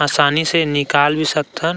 आसानी से निकाल भी सकथन।